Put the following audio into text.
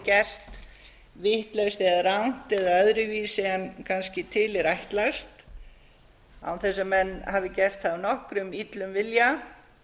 gert vitlaust eða rangt eða öðruvísi en kannski til er ætlast án þess að menn hafi gert það af nokkrum illum vilja